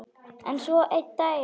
En svo einn daginn.